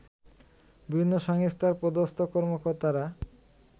বিভিন্ন সংস্থার পদস্থ কর্মকর্তারা